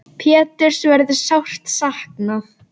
Péturs verður sárt saknað.